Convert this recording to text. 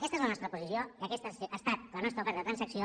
aquesta és la nostra posició i aquesta ha estat la nostra oferta de transacció